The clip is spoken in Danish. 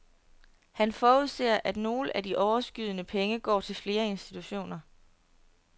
Han forudser, at nogle af de overskydende penge går til flere institutioner.